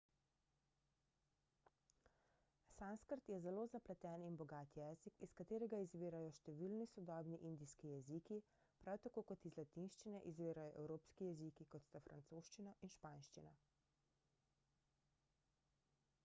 sanskrt je zelo zapleten in bogat jezik iz katerega izvirajo številni sodobni indijski jeziki prav tako kot iz latinščine izvirajo evropski jeziki kot sta francoščina in španščina